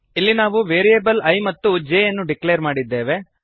ಇಲ್ಲಿ ನಾವು variable i ಮತ್ತು j ಯನ್ನು ಡಿಕ್ಲೇರ್ ಮಾಡಿದ್ದೇವೆ